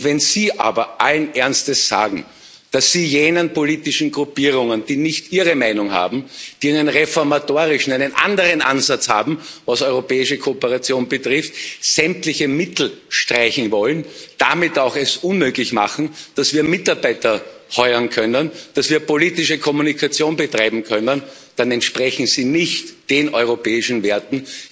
Wenn Sie aber allen Ernstes sagen, dass Sie jenen politischen Gruppierungen, die nicht Ihre Meinung haben, die einen reformatorischen, einen anderen Ansatz haben, was europäische Kooperation betrifft, sämtliche Mittel streichen wollen und es damit auch unmöglich machen, dass wir Mitarbeiter heuern können, dass wir politische Kommunikation betreiben können, dann entsprechen Sie nicht den europäischen Werten